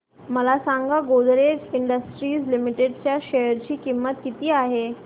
मला सांगा Godrej industries limited च्या शेअर ची किंमत किती आहे